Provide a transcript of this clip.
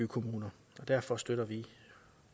kommuner derfor støtter vi l